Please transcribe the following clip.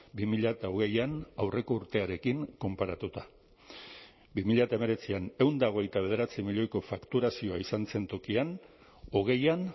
bi mila hogeian aurreko urtearekin konparatuta bi mila hemeretzian ehun eta hogeita bederatzi milioiko fakturazioa izan zen tokian hogeian